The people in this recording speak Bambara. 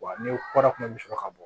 Wa ni kɔda tun bɛ sɔrɔ ka bɔ